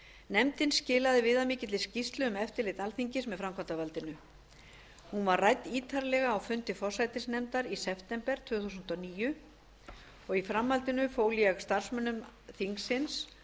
nefndin skilaði viðamikilli skýrslu um eftirlit alþingis með framkvæmdarvaldinu hún var rædd ítarlega á fundi forsætisnefndar í september tvö þúsund og níu í framhaldinu fól ég starfsmönnum þingsins